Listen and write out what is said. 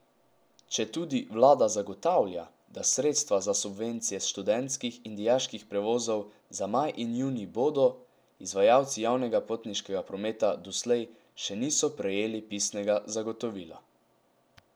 Četudi vlada zagotavlja, da sredstva za subvencije študentskih in dijaških prevozov za maj in junij bodo, izvajalci javnega potniškega prometa doslej še niso prejeli pisnega zagotovila.